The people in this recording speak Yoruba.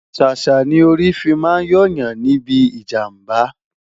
sàsá ní orí fí má n yo Yan níbí ìjàmbá